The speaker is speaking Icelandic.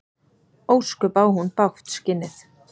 Ósköp á hún bágt, skinnið.